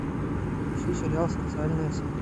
ищи сериал социальная сеть